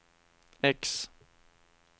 X